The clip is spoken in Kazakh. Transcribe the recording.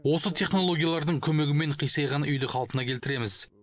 осы технологиялардың көмегімен қисайған үйді қалпына келтіреміз